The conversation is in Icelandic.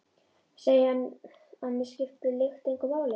Segi að mig skipti lykt engu máli.